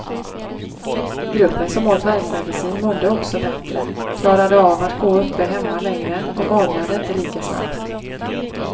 Gruppen som åt värkmedicin mådde också bättre, klarade av att gå uppe hemma längre och magrade inte lika snabbt.